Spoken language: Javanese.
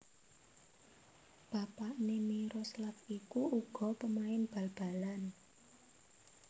Bapakné Miroslav iku uga pamain bal balan